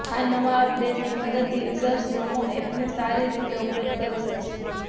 આ નવા અપડેટની મદદથી યુઝર્સ નમો એપને સારી રીતે ઓપરેટ કરી શકશે